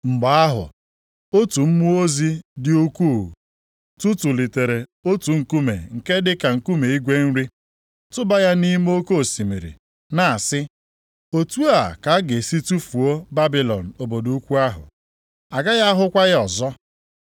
Mgbe ahụ, otu mmụọ ozi dị ukwuu tụtụlitere otu nkume nke dịka nkume igwe nri, tụba ya nʼime oke osimiri, na-asị, “Otu a ka a ga-esi tufuo Babilọn obodo ukwu ahụ, agaghị ahụkwa ya ọzọ.